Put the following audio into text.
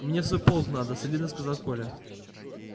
мне в свой полк надо солидно сказал коля